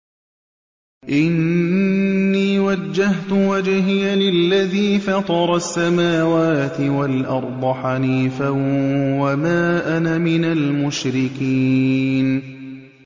إِنِّي وَجَّهْتُ وَجْهِيَ لِلَّذِي فَطَرَ السَّمَاوَاتِ وَالْأَرْضَ حَنِيفًا ۖ وَمَا أَنَا مِنَ الْمُشْرِكِينَ